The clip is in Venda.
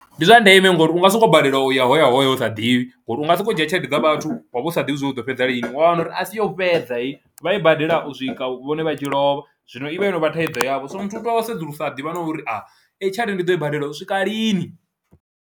Ndi zwa ndeme ngori u nga sokou balelwa u ya ho ya ho ya u sa ḓivhi ngori u nga sokou dzhia tshelede nga vhathu wa vha u sa ḓivhi zwa uri u ḓo fhedza lini, wa wana uri a si yo fhedza heyi vha i badela u swika vhone vha tshi lovha zwino i vha yo no vha thaidzo yavho, so muthu u tea u sedzulusa ḓivha na uri aa eyi tshelede ndi ḓo i badela u swika lini.